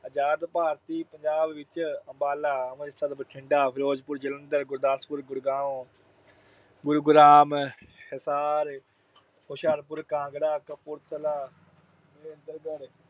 ਆਜਾਦ ਭਾਰਤੀ ਪੰਜਾਬ ਵਿੱਚ ਅੰਬਾਲਾ, ਅੰਮ੍ਰਿਤਸਰ, ਬਠਿੰਡਾ, ਫਿਰੋਜਪੁਰ, ਜਲੰਧਰ, ਗੁਰਦਾਸਪੁਰ, ਗੁੜਗਾਉਂ, ਗੁਰੂਗ੍ਰਾਮ, ਹਿਸਾਰ, ਹੁਸ਼ਿਆਰਪੁਰ, ਕਾਂਗੜਾ, ਕਪੂਰਥਲਾ, ਮਹੇਂਦਰਗੜ੍ਹ